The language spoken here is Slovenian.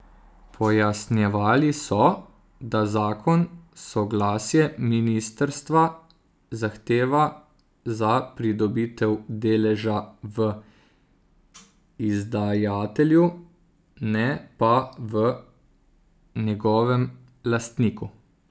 Pojasnjevali so, da zakon soglasje ministrstva zahteva za pridobitev deleža v izdajatelju, ne pa v njegovem lastniku.